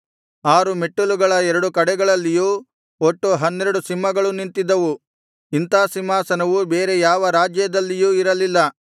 ಆರು ಮೆಟ್ಟಿಲುಗಳ ಎರಡು ಕಡೆಗಳಲ್ಲಿಯೂ ಒಟ್ಟು ಹನ್ನೆರಡು ಸಿಂಹಗಳು ನಿಂತಿದ್ದವು ಇಂಥ ಸಿಂಹಾಸನವು ಬೇರೆ ಯಾವ ರಾಜ್ಯದಲ್ಲಿಯೂ ಇರಲಿಲ್ಲ